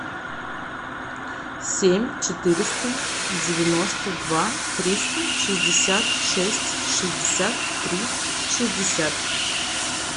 семь четыреста девяносто два триста шестьдесят шесть шестьдесят три шестьдесят